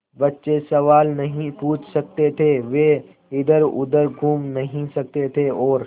बच्चे सवाल नहीं पूछ सकते थे वे इधरउधर घूम नहीं सकते थे और